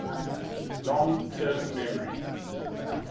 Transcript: long term memory